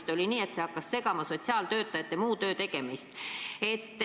Neid oli nii palju, et see hakkas segama sotsiaaltöötajate muu töö tegemist.